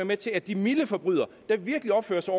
med til at de milde forbrydere der virkelig opfører sig